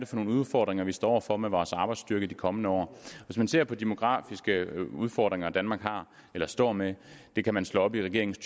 for nogle udfordringer vi står over for med vores arbejdsstyrke i de kommende år hvis man ser på de demografiske udfordringer danmark har eller står med det kan man slå op i regeringens